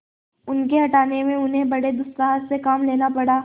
उनके हटाने में उन्हें बड़े दुस्साहस से काम लेना पड़ा